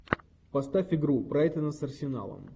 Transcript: поставь игру брайтона с арсеналом